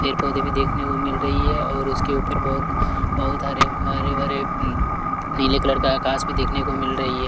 पेर पौधे भी देखने को मिल रही है और उसके ऊपर बहुत बहुत हरे हरे भरे उम्म नीले कलर का आकाश भी देखने को मिल रही है।